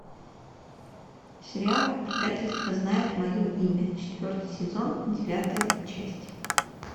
сериал предательство знает мое имя четвертый сезон девятая часть